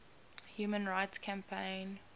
human rights campaign